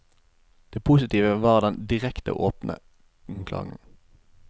Det positive var den direkte og åpne klangen.